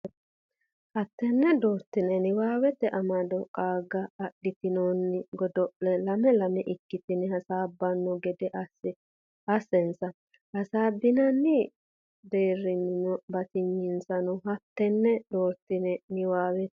hattenne doortine niwaawete amado qaagge adhitinoonni godo le lame lame ikkitine hasaabbanno gede assinsa hasaabbinanni deerrisaanonna batinyisaano hattenne doortine niwaawete.